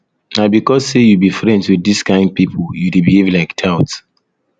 na because sey you be friends wit dis kain pipo you dey behave like tout